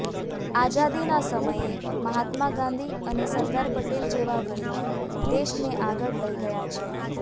આઝાદીનાં સમયે મહાત્મા ગાંધી અને સરદાર પટેલ જેવા વીરો દેશને આગળ લઇ ગયા છે